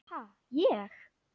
Ha, ég?